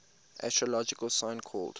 astrological sign called